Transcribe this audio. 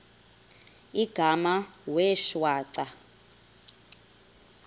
igama wee shwaca